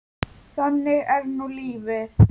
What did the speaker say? Þannig er nú lífið.